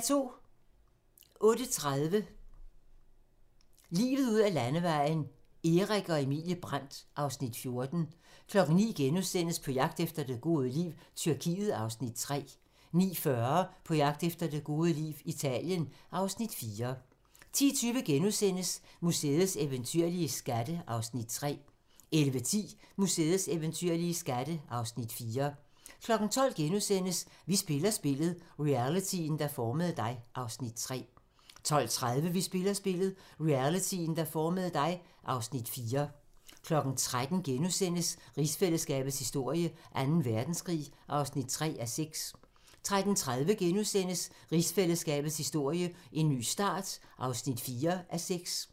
08:30: Livet ud ad landevejen: Erik og Emilie Brandt (Afs. 14) 09:00: På jagt efter det gode liv - Tyrkiet (Afs. 3)* 09:40: På jagt efter det gode liv - Italien (Afs. 4) 10:20: Museets eventyrlige skatte (Afs. 3)* 11:10: Museets eventyrlige skatte (Afs. 4) 12:00: Vi spiller spillet - realityen, der formede dig (Afs. 3)* 12:30: Vi spiller spillet - realityen, der formede dig (Afs. 4) 13:00: Rigsfællesskabets historie: Anden Verdenskrig (3:6)* 13:30: Rigsfællesskabets historie: En ny start (4:6)*